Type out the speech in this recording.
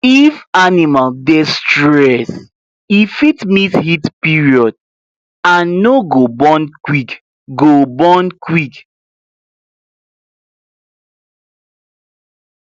if animal dey stressed e fit miss heat period and no go born quick go born quick